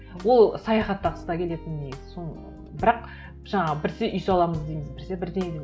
ол саяхаттағысы да келетін негізі сол бірақ жаңағы біресе үй саламыз дейміз біресе бірдеңе